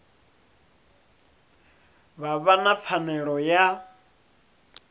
vha vha na pfanelo ya